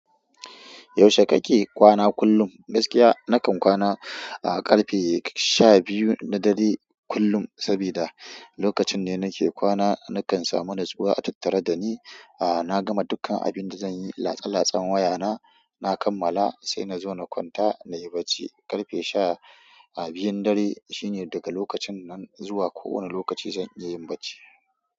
Yaushe kake kwana kullum? Gaskiya nakan kwana, ah, ƙarfe sha biyu na dare kullum saboda lokacin ne nake kwana nakan samu natsuwa a tattare da ni. Ah, na gama dukkan abin da zanyi, latsa-latsan wayana, na kammala sai na zo na kwanta na yi barci. Ƙarfe sha, ah, biyun dare shine daga lokacin nan zuwa kowane lokaci zan iya yin barci.